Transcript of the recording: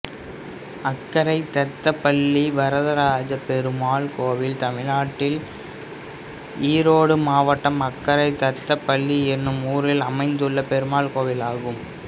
அக்கரை தத்தபள்ளி வரதராஜப்பெருமாள் கோயில் தமிழ்நாட்டில் ஈரோடு மாவட்டம் அக்கரை தத்தபள்ளி என்னும் ஊரில் அமைந்துள்ள பெருமாள் கோயிலாகும்